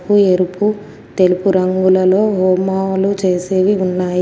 ఎరుపు తెలుపు రంగులలో హోమాలు చేసేవి ఉన్నాయి.